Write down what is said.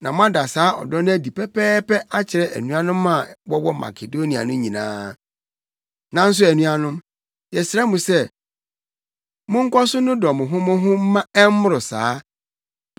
Na moada saa ɔdɔ no adi pɛpɛɛpɛ akyerɛ anuanom a wɔwɔ Makedonia no nyinaa. Nanso anuanom, yɛsrɛ mo sɛ monkɔ so nnodɔ mo ho mo ho mma ɛmmoro saa.